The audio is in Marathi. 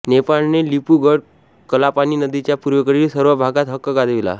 नेपाळने लिपू गड कलापाणी नदीच्या पूर्वेकडील सर्व भागात हक्क गाजविला